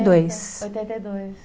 e dois. Oitenta e dois